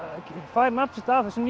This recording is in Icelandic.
fær nafn sitt af þessum